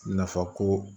Nafa ko